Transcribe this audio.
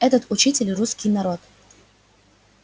этот учитель русский народ